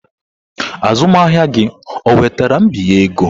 Azụmahịa gị onwetara mbinye ego?